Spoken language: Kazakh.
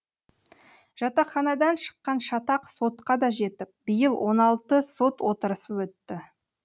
жатақханадан шыққан шатақ сотқа да жетіп биыл он алты сот отырысы өтті